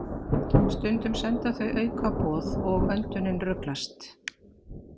Stundum senda þau aukaboð og öndunin ruglast.